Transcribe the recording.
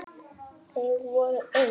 Þau voru eitt.